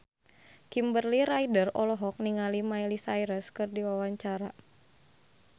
Kimberly Ryder olohok ningali Miley Cyrus keur diwawancara